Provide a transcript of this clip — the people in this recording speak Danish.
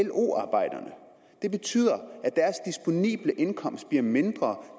lo arbejderne det betyder at indkomst bliver mindre